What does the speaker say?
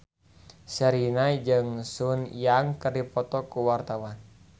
Sherina jeung Sun Yang keur dipoto ku wartawan